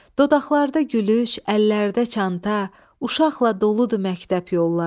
Dodaqlarda gülüş, əllərdə çanta, uşaqla doludur məktəb yolları.